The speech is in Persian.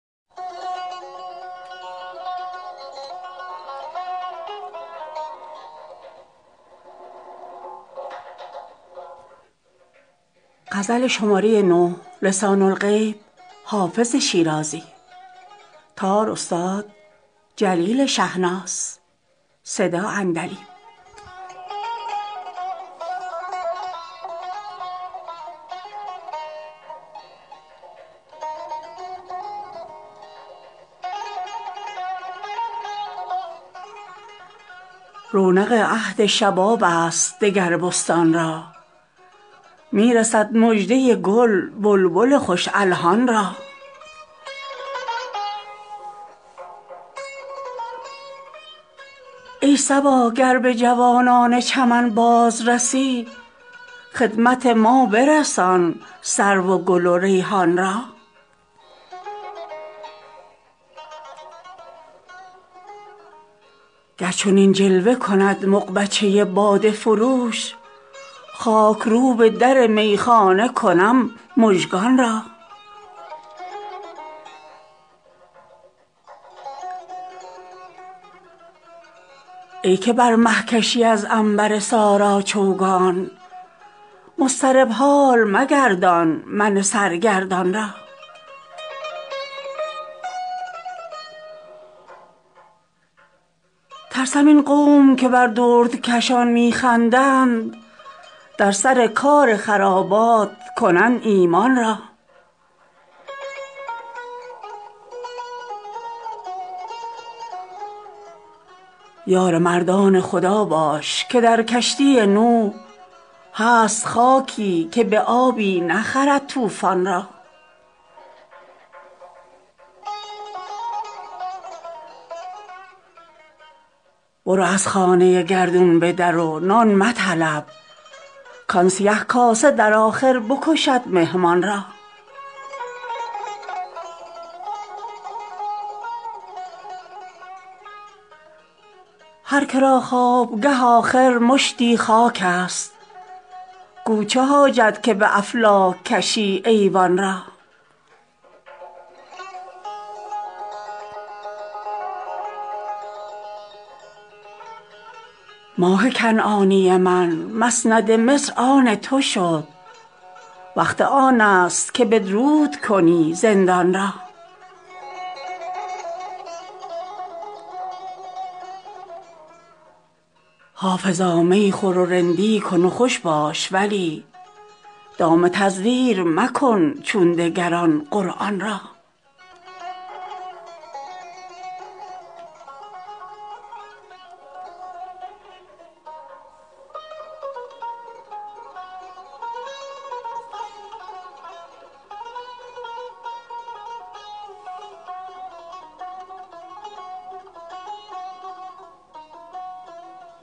رونق عهد شباب است دگر بستان را می رسد مژده گل بلبل خوش الحان را ای صبا گر به جوانان چمن باز رسی خدمت ما برسان سرو و گل و ریحان را گر چنین جلوه کند مغبچه باده فروش خاک روب در میخانه کنم مژگان را ای که بر مه کشی از عنبر سارا چوگان مضطرب حال مگردان من سرگردان را ترسم این قوم که بر دردکشان می خندند در سر کار خرابات کنند ایمان را یار مردان خدا باش که در کشتی نوح هست خاکی که به آبی نخرد طوفان را برو از خانه گردون به در و نان مطلب کآن سیه کاسه در آخر بکشد مهمان را هر که را خوابگه آخر مشتی خاک است گو چه حاجت که به افلاک کشی ایوان را ماه کنعانی من مسند مصر آن تو شد وقت آن است که بدرود کنی زندان را حافظا می خور و رندی کن و خوش باش ولی دام تزویر مکن چون دگران قرآن را